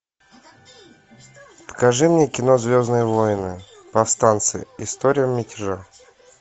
покажи мне кино звездные войны повстанцы история мятежа